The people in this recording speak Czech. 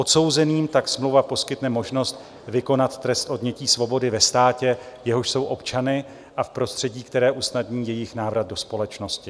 Odsouzeným tak smlouva poskytne možnost vykonat trest odnětí svobody ve státě, jehož jsou občany, a v prostředí, které usnadní jejich návrat do společnosti.